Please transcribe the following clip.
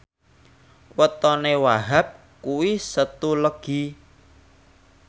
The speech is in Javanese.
wetone Wahhab kuwi Setu Legi